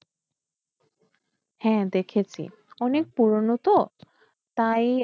হ্যাঁ দেখেছি অনেক পুরোনো তো তাই